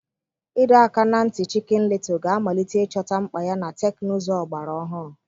Ịdọ aka ná ntị Chicken Little ga-amalite ịchọta mkpa ya na teknụzụ ọgbara ọhụrụ.